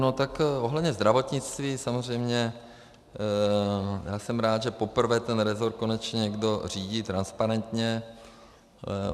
No tak ohledně zdravotnictví samozřejmě, já jsem rád, že poprvé ten resort konečně někdo řídí transparentně.